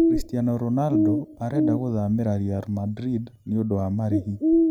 Christiano Ronaldo 'arenda gũthamira' Real Madrid niundũ wa marihi.